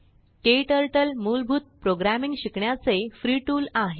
क्टर्टल मूलभूत प्रोग्रामींग शिकण्याचे free tool आहे